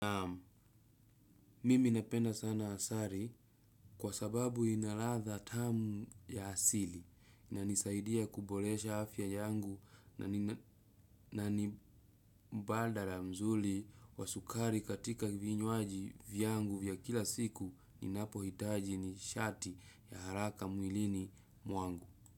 Mimi napenda sana asari kwa sababu ina ladha tamu ya asili inanisaidia kubolesha afya yangu na ni mbadala mzuli wa sukari katika vinywaji vyangu vya kila siku ninapo hitaji nishati ya haraka mwilini mwangu.